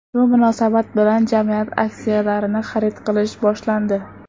Shu munosabat bilan jamiyat aksiyalarini xarid qilish boshlandi.